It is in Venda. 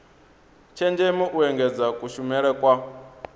tshenzhemo u engedza kushumele kwa